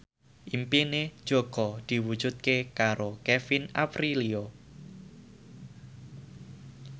impine Jaka diwujudke karo Kevin Aprilio